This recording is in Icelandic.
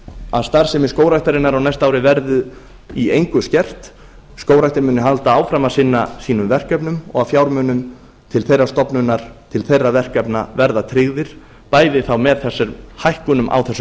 að starfsemi skógræktarinnar á næsta ári verði í engu skert skógræktin muni halda áfram að sinna sínum verkefnum og að fjármunum til þeirrar stofnunar til þeirra verkefna verði tryggðir bæði þá með þessum hækkunum á þessum